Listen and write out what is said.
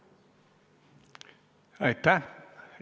Aitäh!